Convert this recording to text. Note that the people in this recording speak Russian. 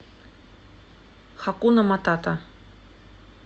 хакуна матата